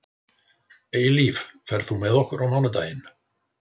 Eilíf, ferð þú með okkur á mánudaginn?